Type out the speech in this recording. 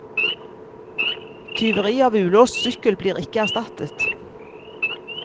Tyveri av ulåst sykkel blir ikke erstattet.